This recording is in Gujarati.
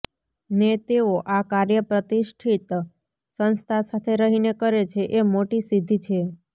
ને તેઓ આ કાર્ય પ્રતિષ્ઠિત સંસ્થા સાથે રહીને કરે છે એ મોટી સિધ્ધિ છે